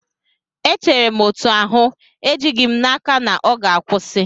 Echere m otú ahụ, ejighị m n'aka na ọ ga-akwụsị.